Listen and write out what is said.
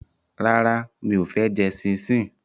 Rárá, mi ò fẹ́ jẹ ṣíńṣiǹ